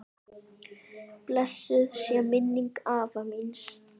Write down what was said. Blessuð sé minning afa míns.